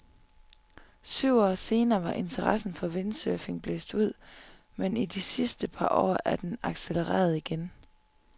Syv år senere var interessen for windsurfing blæst ud, men i de sidste par år er den accelereret igen.